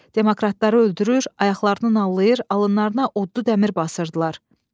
Demokratları öldürür, ayaqlarını nallayır, alınlarına oddu dəmir basırdılar.